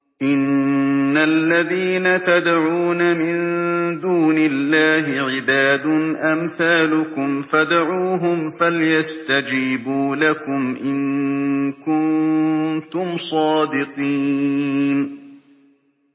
إِنَّ الَّذِينَ تَدْعُونَ مِن دُونِ اللَّهِ عِبَادٌ أَمْثَالُكُمْ ۖ فَادْعُوهُمْ فَلْيَسْتَجِيبُوا لَكُمْ إِن كُنتُمْ صَادِقِينَ